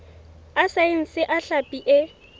a saense a hlapi e